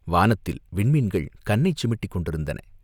வானத்தில் விண்மீன்கள் கண்ணைச் சிமிட்டிக் கொண்டிருந்தன.